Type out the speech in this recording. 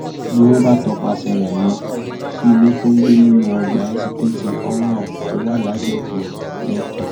ni wọn bá tọpasẹ rẹ lọ sí ilé tó ń gbé nínú ọgbà èsiteetí oral tó wà lágbègbè lẹkì